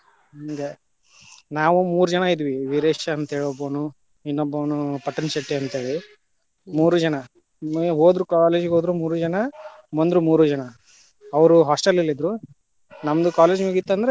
ಹಂಗ, ನಾವು ಮೂರು ಜನ ಇದ್ವಿ, ವೀರೆಶ ಅಂತ ಒಬ್ಬನು ಇನ್ನೊಂಬೊನು ಪಟ್ಟಣಶೆಟ್ಟಿ ಅಂತ ಹೇಳಿ, ಮೂರು ಜನ ಹೊದ್ರು college ಹೊದ್ರು ಮೂರು ಜನ ಬಂದ್ರು ಮೂರು ಜನ ಅವ್ರು hostel ಲ್ಲಿ ಅದ್ರು ನಮ್ದು college ಮುಗಿತಂದ್ರ.